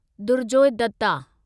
Durjoy Dutta